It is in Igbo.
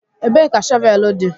Ebee ka shọvel dị?